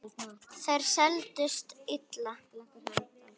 Þær seldust illa.